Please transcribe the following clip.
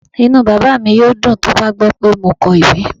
Inú bàbá mi yóò dùn tó bá gbọ́ pé mo kọ ìwé.